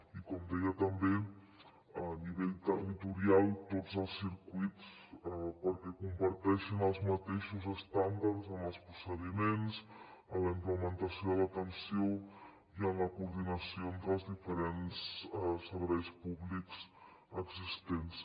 i com deia també a nivell territorial tots els circuits perquè comparteixin els mateixos estàndards en els procediments en la implementació de l’atenció i en la coordinació entre els diferents serveis públics existents